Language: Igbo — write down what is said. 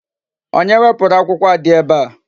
Onye wepụrụ akwụkwọ a dị ebe a?